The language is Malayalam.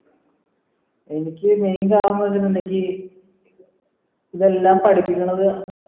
എനിക്ക് നീ കാണുന്ന ഇതെല്ലം പഠിപ്പിക്കണത്